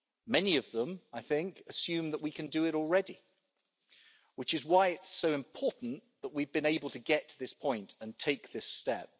Many of them, I think, assumed that we can do it already, which is why it's so important that we've been able to get to this point and take this step.